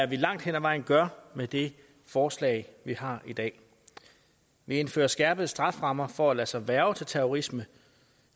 vi langt hen ad vejen gør med det forslag vi har i dag vi indfører skærpede strafferammer for at lade sig hverve til terrorisme